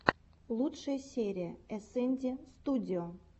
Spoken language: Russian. лучшая серия эсэнди студио